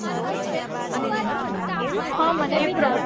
હ મને બી